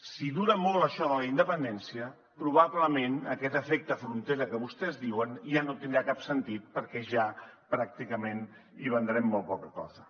si dura molt això de la independència probablement aquest efecte frontera que vostès diuen ja no tindrà cap sentit perquè ja pràcticament hi vendrem molt poca cosa